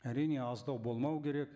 әрине аздау болмау керек